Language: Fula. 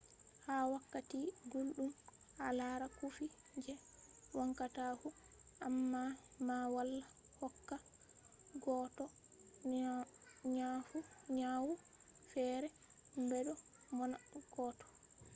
ha wakkati gulɗum a lara cufi je wancata fu. amma ma wala hokka goɗɗo nyawu feere bedo monna goɗɗo